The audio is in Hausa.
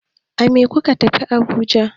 A me kuka tafi Abuja?